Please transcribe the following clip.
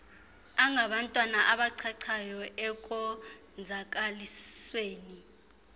angabantwana abachachayo ekonzakalisweni